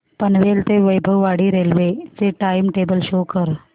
पनवेल ते वैभववाडी रेल्वे चे time table show करा